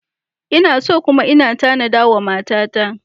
Ina so kuma ina tanada wa matata.